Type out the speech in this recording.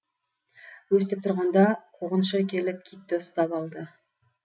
өстіп тұрғанда қуғыншы келіп китті ұстап алды